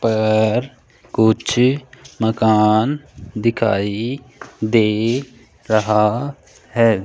पर कुछ मकान दिखाई दे रहा है।